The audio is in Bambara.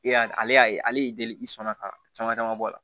E y'a ale y'a ye ale y'i deli i sɔn na ka caman caman bɔ a la